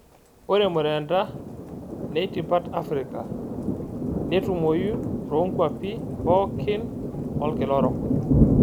Ore murendaa neitipat Afirika netumoi too kwapi pookin olkila orok.